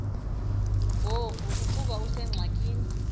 ngoku ukuba usengxakini